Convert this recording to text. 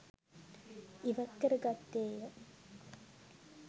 ඉවත් කර ගත්තේය